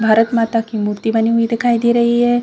भारत माता की मूर्ति बनी हुई दिखाई दे रही है।